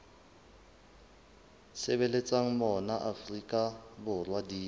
sebetsang mona afrika borwa di